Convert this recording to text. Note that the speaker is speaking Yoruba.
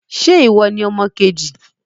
Ṣẹ́ ìwọ ní ọmọ kejì?